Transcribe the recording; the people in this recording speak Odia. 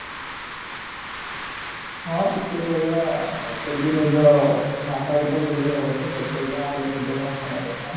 ହଁ କିଛି ସେଇ ଭଳିଆ ଆଉ ଭାଷା ତ ଭୁଲି ହବନାହି ଯାହା ହେଲେ ବି ନିଜ ଭାଷାଟା ପ୍ରଥମ